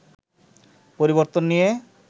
পরিবর্তন নিয়ে